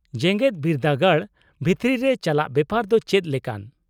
-ᱡᱮᱜᱮᱫ ᱵᱤᱨᱫᱟᱹᱜᱟᱲ ᱵᱷᱤᱛᱨᱤ ᱨᱮ ᱪᱟᱞᱟᱜ ᱵᱮᱯᱟᱨ ᱫᱚ ᱪᱮᱫ ᱞᱮᱠᱟᱱ ?